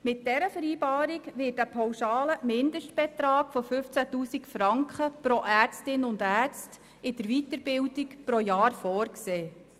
Mit dieser Vereinbarung wird ein pauschaler Mindestbetrag von 15 000 Franken pro Ärztin oder Arzt in der Weiterbildung pro Jahr vorgesehen.